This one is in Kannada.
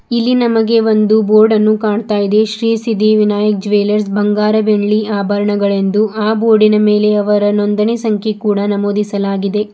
ಇಲ್ಲಿ ನಮಗೆ ಒಂದು ಬೋರ್ಡ ನ್ನು ಕಾಣ್ತಾ ಇದೆ ಶ್ರೀ ಸಿದ್ದಿ ವಿನಾಯಕ್ ಜುವೆಲ್ಲರ್ಸ್ ಬಂಗಾರ ಬೆಳ್ಳಿ ಆಭರಣಗಳೆಂದು ಅ ಬೋರ್ಡಿ ನ ಮೇಲೆ ಅವರ ನೊಂದಣಿ ಸಂಖ್ಯೆ ಕೂಡ ನಮೂದಿಸಲಾಗಿದೆ.